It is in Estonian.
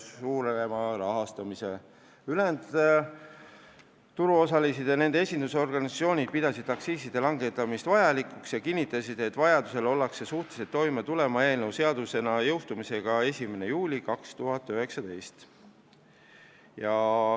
Ülejäänud huvirühmade esindajad pidasid aktsiiside langetamist vajalikuks ja kinnitasid, et vajadusel ollakse suutelised toime tulema, kui eelnõu jõustub seadusena 1. juulil 2019.